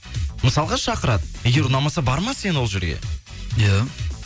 мысалға шақырады егер ұнамаса барма сен ол жерге иә